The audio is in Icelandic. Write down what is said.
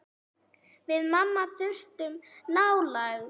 Við mamma þurftum nálægð.